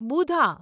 બુધા